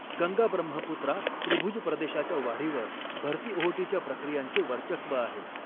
गंगा ब्रह्मपुत्रा त्रिभुज प्रदेशाच्या वाढीवर भरती ओहोटीच्या प्रक्रियांचे वर्चस्व आहे.